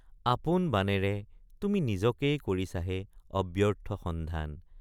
আপোন বাণেৰে তুমি নিজকেই কৰিছাহে অব্যৰ্থ সন্ধান।